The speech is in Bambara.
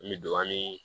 N bɛ don an ni